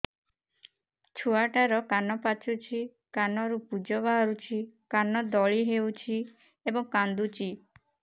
ଛୁଆ ଟା ର କାନ ପାଚୁଛି କାନରୁ ପୂଜ ବାହାରୁଛି କାନ ଦଳି ହେଉଛି ଏବଂ କାନ୍ଦୁଚି